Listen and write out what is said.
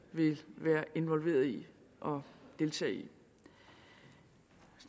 vil være involveret i og deltage i